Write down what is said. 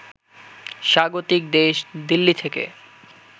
স্বাগতিক দেশ দিল্লি থেকে